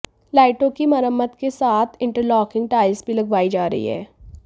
लाइटों की मरम्मत के साथ इंटरलॉकिंग टाइल्स भी लगवाई जा रही है